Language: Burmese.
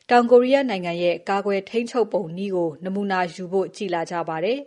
တောင်ကိုရီးယားနိုင်ငံရဲ့ နည်းပညာသုံး ကာကွယ် ထိန်းချုပ်နည်းပုံစံကို နမူနာယူဖို့ကြည့်လာကြပါတယ်